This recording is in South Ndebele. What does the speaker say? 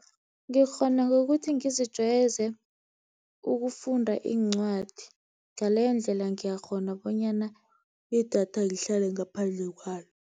Ngikghona ngokuthi ngizijwayeze ukufunda incwadi, ngaleyo ndlela ngiyakghona bonyana idatha ngihlale ngaphandle kwalo.